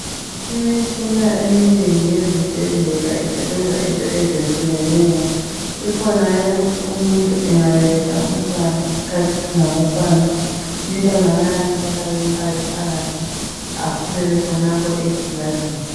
Imitshina eminenge izibhedlela isebenza into ezetshiyeneyo. Ikhona eyokuthi umuntu angabeletha umntwana iskhathi singakakwani, umntwana bayamthatha bamfake phakhathi akhulele khonapho egilazini.